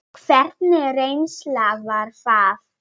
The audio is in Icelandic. Hvernig reynsla var það?